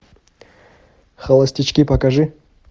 холостячки покажи